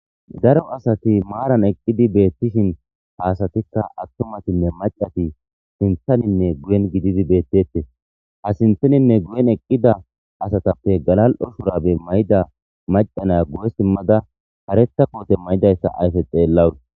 daro asati maaran eqqidi beettishin haasatikka attumatinne macati sinthaninne guyen gididi beettette ha sinthaninne guyen eqqida asatappe galal7o shurabe mayda macanaya gu7e simmada hareta koote maydayssa ayfe xeellawur